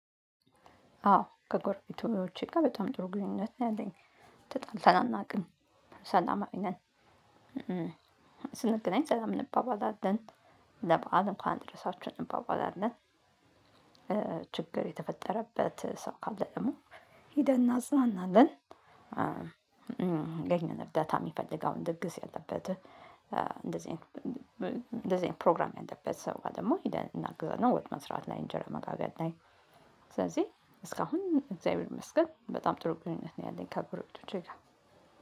አዎ ከጎርቤቶቼ ጋር በጣም ጥሩ ግንኙነት ነው ያለኝ ተጣልተን አናውቅም ሰላማዊ ነን ስንገናኝ ሰላም እንባባላለን ለበአል እንኳን አደረሳችሁ እንባባላለን ችግር የተፈጠረበት ሰው ካለ ደግሞ ሄደን እናጽናናለን የኛን እርዳታ የሚፈልገውን ድግስ ያለበት እንደዚህ ፕሮግራም ያለበት ሰው ጋር ደግሞ ሄደን እናግዛለን። ወጥ መስራት ላ፤ እንጀራ መጋገር ላይ ስለዚህ እስካሁን እግዚአብሔር ይመስገን። በጣም ጥሩ ግንኙነት ነው ያለኝ ከጎረቤቶቼ ጋር